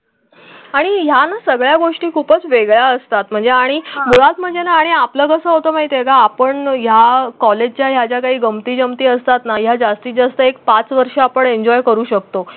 आणि या सगळ्या गोष्टी खूपच वेगळ्या असतात म्हणजे आणि मुळात म्हणजे ना आपलं कसं होतं? माहितीये का आपण या कॉलेजच्याच्या काही गमती जमती असतात ना या जास्तीत जास्त एक पाच वर्ष आपण एन्जॉय करू शकतो.